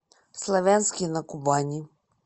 славянске на кубани